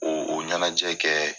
O o ɲɛnajɛ kɛ